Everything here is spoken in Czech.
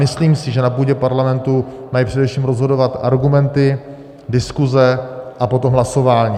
Myslím si, že na půdě parlamentu mají především rozhodovat argumenty, diskuse a potom hlasování.